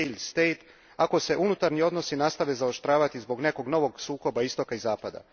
failed state ako se unutarnji odnosi nastave zaoštravati zbog nekog novog sukoba istoka i zapada.